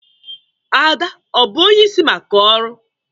Ada ọ bụ onyeisi maka ọrụ?